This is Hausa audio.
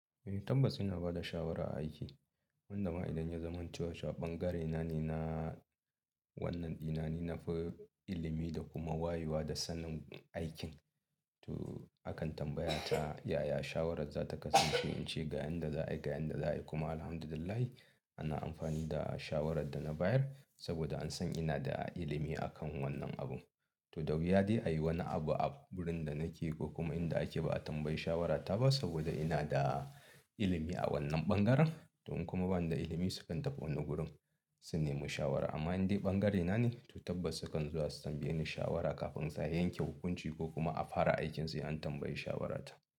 Eh tabbas ina ba da shawara a aiki. Wanda ma idan ya zamanto cewa ɓangare na ne, na wannan ɗina ne, na fi ilimi da kuma wayewa da sanin aikin. To akan tambaya ta, "Yaya shawarar za ta kasance in ce ga inda za a yi, ga inda za a yi?" Kuma Alhamdulillah, ana amfani da shawarar da na bayar saboda an san ina da ilimi akan wannan abun. To, da wuya dai a yi wani abu a wurin da nake ko kuma inda ake ba a tambayi shawarata ba saboda ina da ilimi a wannan ɓangaren. Toh in kuma banida ilimi sukan tafi wani gurin, su nemo shawara. Amma in dai ɓangare na ne, to tabbas sukan zuwa su tambaye ni shawara kafin za a yanke hukunci ko kuma a fara aikinsu an tambayi shawarata.